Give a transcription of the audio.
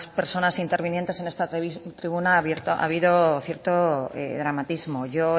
personas intervinientes en esta tribuna ha habido cierto dramatismo yo